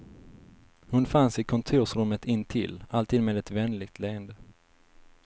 Hon fanns i kontorsrummet intill, alltid med ett vänligt leende.